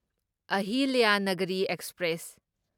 Ahilyanagari express